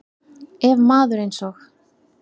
Ef maður eins og